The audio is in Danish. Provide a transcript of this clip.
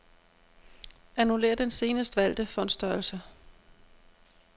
Annullér den senest valgte font-størrelse.